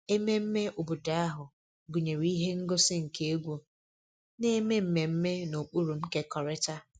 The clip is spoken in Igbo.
Ememme obodo ahụ gụnyere ihe ngosi nke egwu na-eme mmemme na ụkpụrụ nkekọrịta